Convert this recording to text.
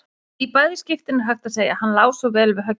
Í bæði skiptin er hægt að segja: Hann lá svo vel við höggi.